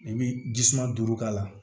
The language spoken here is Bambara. I bi jisuman duuru k'a la